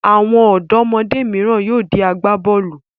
Àwọn ọ̀dọ́mọdé mìíràn yóò di agbá-bọ́ọ́lù.